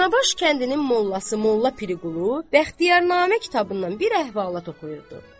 Danabaş kəndinin mollası Molla Pirqulu, Bəxtiyarnamə kitabından bir əhvalat oxuyurdu.